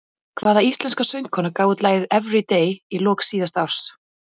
Hvaða íslenska söngkona gaf út lagið Everyday í lok síðasta árs?